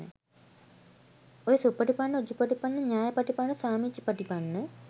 ඔය සුපටිපන්න උජුපටිපන්න ඤායපටිපන්න සාමීචිපටිපන්න